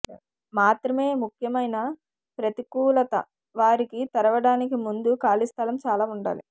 మాత్రమే ముఖ్యమైన ప్రతికూలత వారికి తెరవడానికి ముందు ఖాళీ స్థలం చాలా ఉండాలి